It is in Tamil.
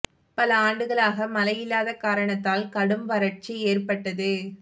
பல ஆண்டுகளாக மழை இல்லாத காரணத்தால் கடும் வறட்சி ஏற்பட்டது